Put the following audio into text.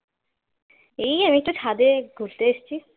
এই আমি একটু ছাদে ঘুরতে এসেছি